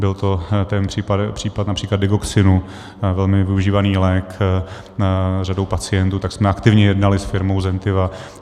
Byl to ten případ například Digoxinu - velmi využívaný lék řadou pacientů, tak jsme aktivně jednali s firmou Zentiva.